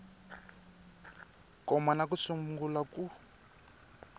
koma na ku sungula ku